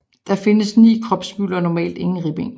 Der findes 9 kropshvirvler og normalt ingen ribben